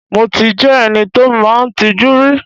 Mo ti jẹ́ ẹni tí ó máa ń tijú rí.